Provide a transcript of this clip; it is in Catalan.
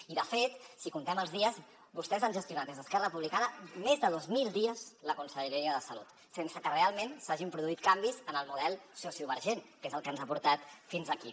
i de fet si comptem els dies vostès han gestionat des d’esquerra republicana més de dos mil dies la conselleria en matèria de salut sense que realment s’hagin produït canvis en el model sociovergent que és el que ens ha portat fins aquí